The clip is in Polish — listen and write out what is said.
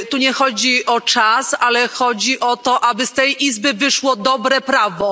Tu nie chodzi o czas, ale chodzi o to, aby z tej izby wyszło dobre prawo.